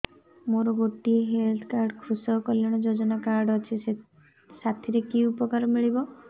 ମୋର ଗୋଟିଏ health card କୃଷକ କଲ୍ୟାଣ ଯୋଜନା କାର୍ଡ ଅଛି ସାଥିରେ କି ଉପକାର ମିଳିବ